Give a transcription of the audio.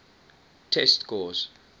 test scores